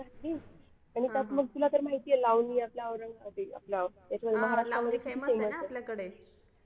आणि त्यात मग तुला तर माहिती आहे लावणी आपलं महाराष्ट्र मध्ये किती famous आहे